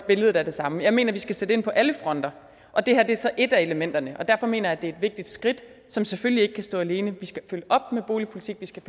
billedet er det samme jeg mener at vi skal sætte ind på alle fronter og det her er så et af elementerne og derfor mener jeg at det er et vigtigt skridt som selvfølgelig ikke kan stå alene vi skal følge op med boligpolitik vi skal